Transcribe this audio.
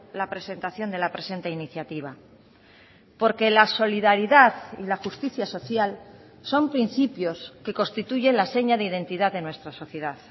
la presentación de la presente iniciativa porque la solidaridad y la justicia social son principios que constituye la seña de identidad de nuestra sociedad